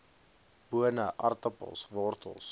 bone aartappels wortels